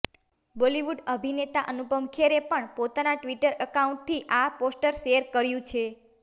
બોલીવુડ અભિનેતા અનુપમ ખેરે પણ પોતાના ટ્વિટર એકાઉન્ટથી આ પોસ્ટર શેર કર્યુ છે